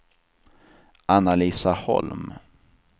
Anna-Lisa Holm